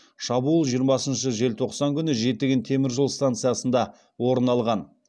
шабуыл жиырмасыншы желтоқсан күні жетіген теміржол станциясында орын алған